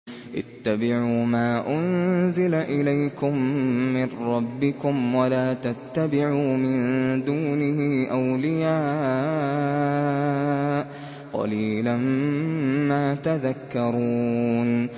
اتَّبِعُوا مَا أُنزِلَ إِلَيْكُم مِّن رَّبِّكُمْ وَلَا تَتَّبِعُوا مِن دُونِهِ أَوْلِيَاءَ ۗ قَلِيلًا مَّا تَذَكَّرُونَ